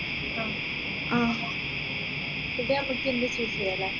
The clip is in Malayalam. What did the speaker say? food നമ്മക്ക് എന്തും choose ചെയ്യാ ല്ലേ